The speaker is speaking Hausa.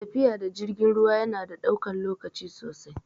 Tafiya da jirgin ruwa yana ɗaukan lokaci sosai